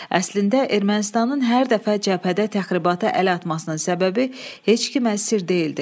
Əslində Ermənistanın hər dəfə cəbhədə təxribata əl atmasının səbəbi heç kimə sir deyildi.